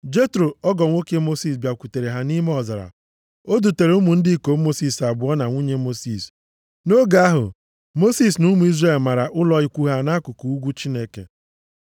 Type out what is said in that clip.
Jetro, ọgọ nwoke Mosis, bịakwutere ha nʼime ọzara. O dutere ụmụ ndị ikom Mosis abụọ na nwunye Mosis. Nʼoge ahụ, Mosis na ụmụ Izrel mara ụlọ ikwu ha nʼakụkụ ugwu Chineke.